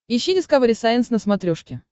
ищи дискавери сайенс на смотрешке